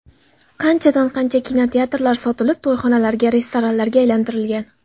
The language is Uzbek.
Qanchadan- qancha kinoteatrlar sotilib, to‘yxonalarga, restoranlarga aylantirilgan.